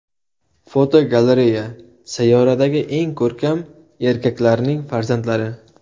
Fotogalereya: Sayyoradagi eng ko‘rkam erkaklarning farzandlari.